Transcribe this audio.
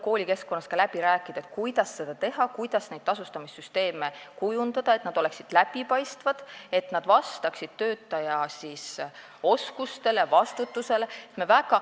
Koolis tuleb läbi rääkida, kuidas seda teha ning kuidas tasustamissüsteeme kujundada, et nad oleksid läbipaistvad, vastaksid töötajate oskustele ja vastutusele.